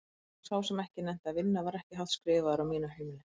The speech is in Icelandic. Og sá sem ekki nennti að vinna var ekki hátt skrifaður á mínu heimili.